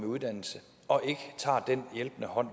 uddannelse og ikke tager den hjælpende hånd